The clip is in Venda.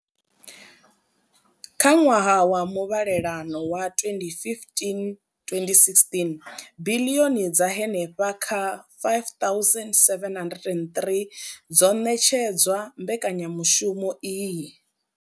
Kha ṅwaha wa muvhalelano wa 2015 2016, biḽioni dza henefha kha R5 703 dzo ṋetshedzwa mbekanyamushumo iyi.